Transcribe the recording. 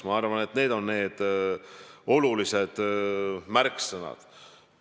Ma arvan, et need on need olulised märksõnad.